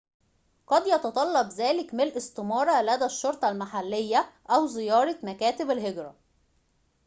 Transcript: قد يتطلّب ذلك مِلء استمارة لدى الشرطة المحلية أو زيارة مكاتبَ الهجرة